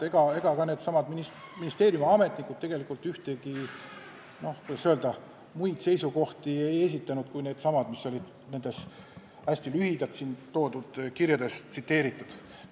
Ega ka ministeeriumi ametnikud tegelikult muid seisukohti ei esitanud kui neidsamu, mis olid nendes kirjades ja mida ma hästi lühidalt siin tsiteerisin.